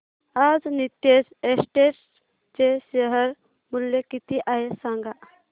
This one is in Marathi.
आज नीतेश एस्टेट्स चे शेअर मूल्य किती आहे सांगा